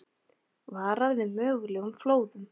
Varað við mögulegum flóðum